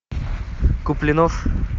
куплинов